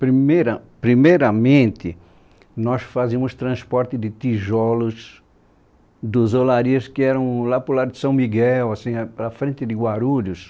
Primeira, primeiramente, nós fazíamos transporte de tijolos das olarias que eram lá para o lado de São Miguel, assim a a frente de Guarulhos.